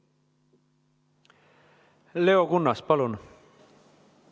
Leo Kunnas, palun!